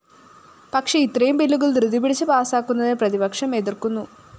പക്ഷേ ഇത്രയും ബില്ലുകള്‍ ധൃതി പിടിച്ച് പാസാക്കുന്നതിനെ പ്രതിപക്ഷം എതിര്‍ക്കുന്നു